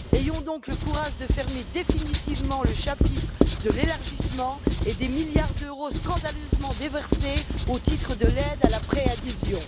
Ayons donc le courage de fermer définitivement le chapitre de l'élargissement et des milliards d'euros scandaleusement déversés au titre de l'aide à la préadhésion.